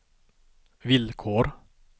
villkor